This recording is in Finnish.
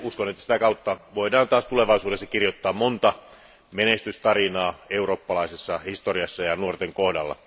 Uskon, että sitä kautta voidaan tulevaisuudessa kirjoittaa monta menestystarinaa eurooppalaisessa historiassa ja nuorten kohdalla.